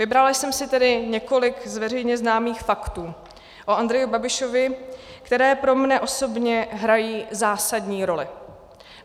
Vybrala jsem si tedy několik z veřejně známých faktů o Andreji Babišovi, které pro mne osobně hrají zásadní roli.